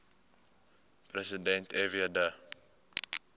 president fw de